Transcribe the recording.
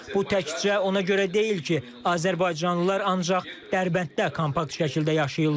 Bu təkcə ona görə deyil ki, azərbaycanlılar ancaq Dərbənddə kompakt şəkildə yaşayırlar.